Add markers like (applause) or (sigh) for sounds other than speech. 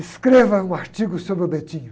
Escreva um artigo sobre o. (unintelligible)